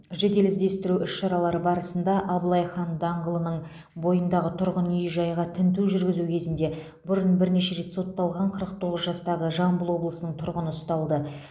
жедел іздестіру іс шаралары барысында абылай хан даңғылының бойындағы тұрғын үй жайға тінту жүргізу кезінде бұрын бірнеше рет сотталған қырық тоғыз жастағы жамбыл облысының тұрғыны ұсталды